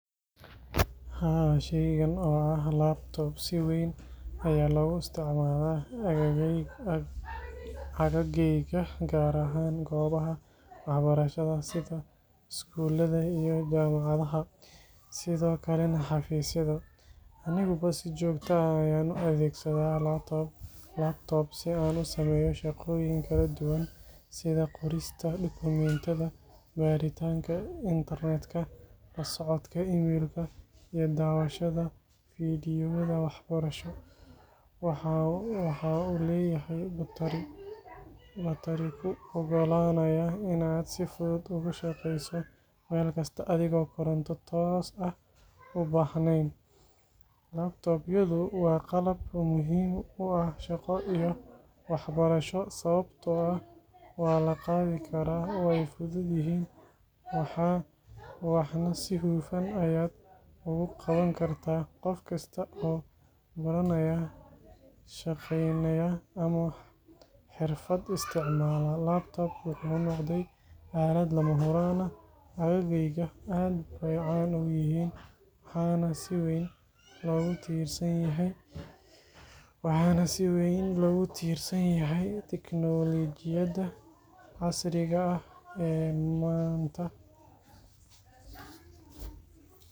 Haa, shaygan oo ah laptop si weyn ayaa loogu isticmaalaa agaggayga, gaar ahaan goobaha waxbarashada sida iskuulada iyo jaamacadaha, sidoo kalena xafiisyada. Aniguba si joogto ah ayaan u adeegsadaa laptop si aan u sameeyo shaqooyin kala duwan sida qorista dokumentiyada, baaritaanka internet-ka, la socodka email-ka, iyo daawashada fiidiyowyada waxbarasho. Waxa uu leeyahay batari kuu oggolaanaya in aad si fudud ugu shaqeyso meel kasta adigoon koronto toos ah u baahnayn. Laptop-yadu waa qalab muhiim u ah shaqo iyo waxbarasho, sababtoo ah waa la qaadi karaa, way fudud yihiin, waxna si hufan ayaad ugu qaban kartaa. Qof kasta oo baranaya, shaqaynaya, ama xirfad isticmaala, laptop wuxuu noqday aalad lama huraan ah. Agaggayga, aad bay caan u yihiin waxaana si weyn loogu tiirsan yahay tiknoolajiyada casriga ah ee maanta.